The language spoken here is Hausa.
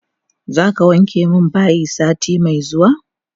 Zaka wanke min bayi sati me zuwa?